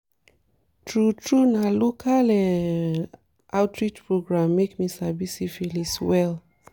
true true na local um outreach program make me sabi syphilis well